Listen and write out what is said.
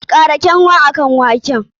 Kara kanwa akan waken!